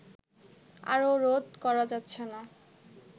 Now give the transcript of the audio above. আর রোধ করা যাচ্ছে না